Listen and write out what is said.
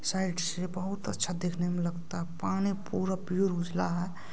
Side से बहुत अच्छा दिखने में लगता पानी पूरा प्योर उजला है।